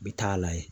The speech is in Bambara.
N bɛ taa a layɛ